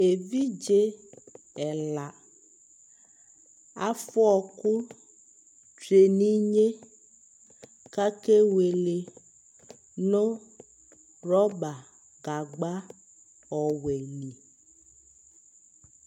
Evidze ɛla afʋa ɔɔkʋ tsue n'inye kake wele nʋ rɔba gagba ɔwɛ li